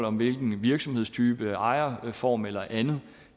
om hvilken virksomhedstype ejerform eller andet